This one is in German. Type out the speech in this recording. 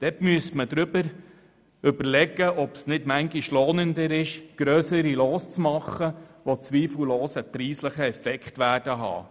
Deshalb sollte überlegt werden, ob es nicht lohnender wäre, grössere Lose zu machen, die zweifellos einen preislichen Effekt haben.